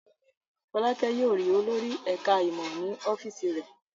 Fọ́lákẹ́ yóò rí olórí ẹ̀ka-ìmọ̀ ní ọ́fíísì rẹ̀.